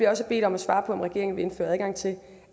også bedt om at svare på om regeringen vil indføre adgang til